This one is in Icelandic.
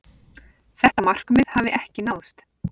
Þetta markmið hafi ekki náðst.